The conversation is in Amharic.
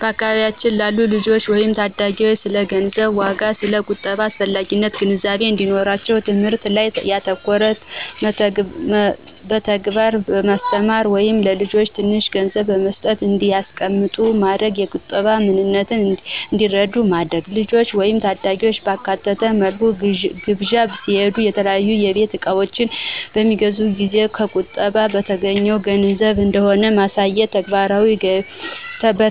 በአካባቢያችን ላሉ ልጆች ወይም ታዳጊዎች ስለ ገንዘብ ዋጋና ስለ ቁጠባ አስፈላጊነት ግንዛቤ እንዲኖራቸው ትምህርት ላይ ያተኮረ በተግባር በማስተማር(ለልጆች ትንሽ ገንዘብ በመስጠትና እንዲያስቀምጡት በማድረግ የቁጠባን ምንነት እንዲረዱ በማድረግ)፣ ልጆችን ወይም ታዳጊዎችን ባካተተ መልኩ ግብዣ ሲካሄድ፣ የተለያዩ የቤት እቃዎች በሚገዙበት ጊዜ ከቁጠባ በተገኘው ገንዘብ እንደሆነ በማሳየት፣